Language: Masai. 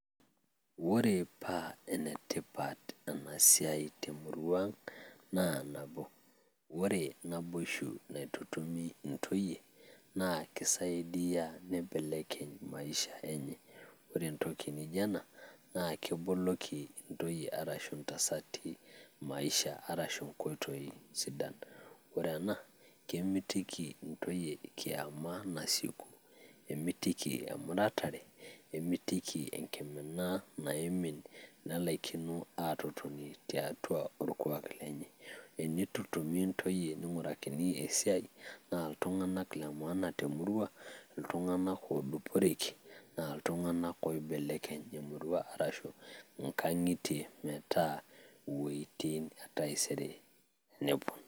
Ore paa enetipat ena siai te murua ang, naa nabo ore naboisho naitutumi ntoyie naa keisaidia neibelekeny maisha enye. Ore entoki naijo ena naa keboloki ntoyie arashu ntasati maisha arashu enkoitoi sidan. Ore ena kemitiki ntoyie kiama nasieku, kemitiki emuratare, nemitiki enkimina naimin nelaikino aatototni tiatua olkuak lenye enitutumi ntoyie nigurakini esiai, naa iltung`anak le maana te murua, iltung`anak ooduporeki naa iltung`anak oibelekeny e murua ashu nkang`itie metaa wuetin taisere neepuoi.